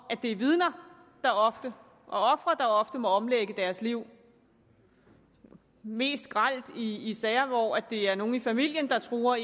at det er vidner og ofre der ofte må omlægge deres liv mest grelt i i sager hvor det er nogle i familien der truer